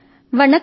vanakkam